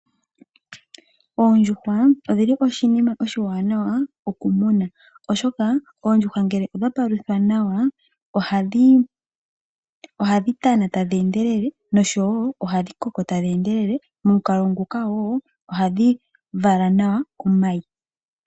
Oondjuhwa odhili oshinima oshiwanawa okumuna . Oshoka oondjuhwa ngele odha paluthwa nawa ohadhi tana tadhi endelele noshowo ohadhi koko tadhi endelele momukalo nguka wo ohadhi vala nawa omayi .